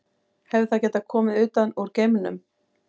Hefði það getað komið utan úr geimnum?